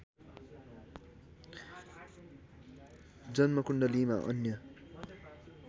जन्मकुण्डलीमा अन्य